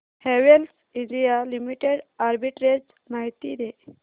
Havells India Limited arbitrage माहिती दे